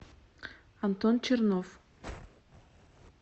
антон чернов